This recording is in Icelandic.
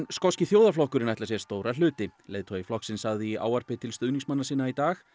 skoski þjóðarflokkurinn ætlar sér stóra hluti leiðtogi flokksins sagði í ávarpi til stuðningsmanna sinna í dag